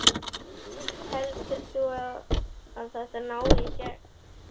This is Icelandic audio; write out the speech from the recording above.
Heldur þú að þetta nái í gegn?